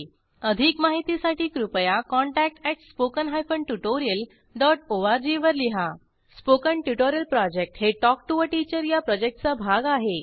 अधिक माहितीसाठी कृपया contact at spoken hyphen tutorial dot org वर लिहा स्पोकन ट्युटोरियल प्रॉजेक्ट हे टॉक टू टीचर या प्रॉजेक्टचा भाग आहे